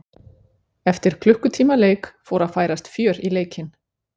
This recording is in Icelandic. Eftir klukkutíma leik fór að færast fjör í leikinn.